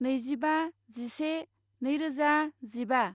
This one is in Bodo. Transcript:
नैजिबा जिसे नैरोजा जिबा